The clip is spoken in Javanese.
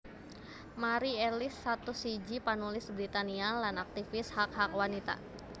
Mari Ellis satus siji panulis Britania lan aktivis hak hak wanita